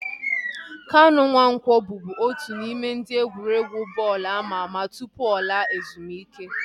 Kanu Nwanko bubu otu n'ime ndị egwuregwu bọọlụ ama ama tụpụ ọ laa ezumike